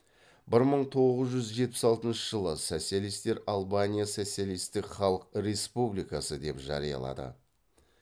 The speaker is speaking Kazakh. бір мың тоғыз жүз жетпіс алтыншы социалистер албания социалистік халық республикасы деп жариялады